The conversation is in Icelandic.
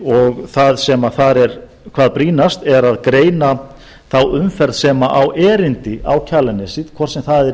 og það sem þar er hvað brýnast er að greina þá umferð sem á erindi á kjalarnesið hvort sem það er